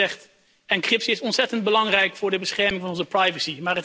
U heeft het al gezegd, encryptie is ontzettend belangrijk voor de bescherming van onze privacy.